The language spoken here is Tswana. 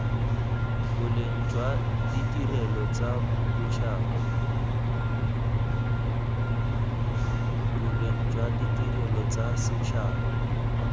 boleng jwa ditirelo tsa setšhaba